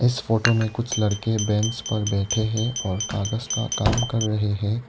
इस फोटो में कुछ लड़के बेंच पर बैठे हैं और कागज का काम कर रहे हैं।